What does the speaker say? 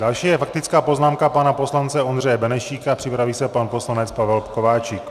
Další je faktická poznámka pana poslance Ondřeje Benešíka, připraví se pan poslanec Pavel Kováčik.